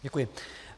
Děkuji.